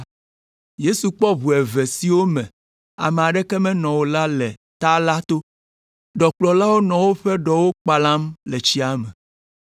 Yesu kpɔ ʋu eve siwo me ame aɖeke menɔ o la le ta la to. Ɖɔkplɔlawo nɔ woƒe ɖɔwo kpalam le tsia me.